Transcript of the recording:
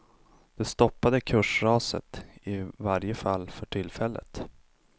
Det stoppade kursraset, i varje fall för tillfället.